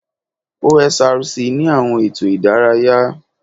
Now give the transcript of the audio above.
OSRC ni àwọn ètò ìdárayá